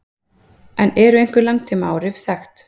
Eru einhver langtímaáhrif þekkt?